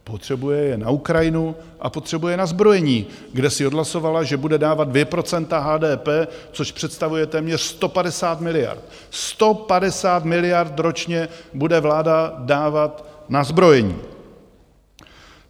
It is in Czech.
Potřebuje je na Ukrajinu a potřebuje je na zbrojení, kde si odhlasovala, že bude dávat 2 % HDP, což představuje téměř 150 miliard - 150 miliard ročně bude vláda dávat na zbrojení!